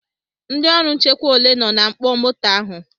Ndị ọrụ nchekwa ole nọ na mkpọ moto ahụ?